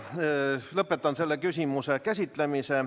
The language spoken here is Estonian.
Lõpetan selle küsimuse käsitlemise.